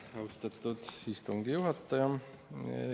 Aitäh, austatud istungi juhataja!